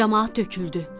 Camaat töküldü.